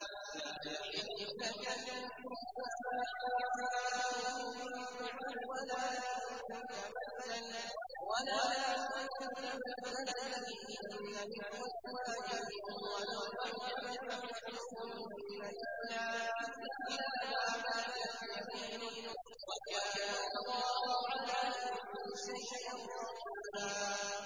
لَّا يَحِلُّ لَكَ النِّسَاءُ مِن بَعْدُ وَلَا أَن تَبَدَّلَ بِهِنَّ مِنْ أَزْوَاجٍ وَلَوْ أَعْجَبَكَ حُسْنُهُنَّ إِلَّا مَا مَلَكَتْ يَمِينُكَ ۗ وَكَانَ اللَّهُ عَلَىٰ كُلِّ شَيْءٍ رَّقِيبًا